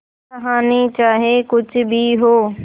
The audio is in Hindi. कहानी चाहे कुछ भी हो